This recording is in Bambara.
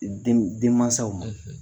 Den , denmasaw ma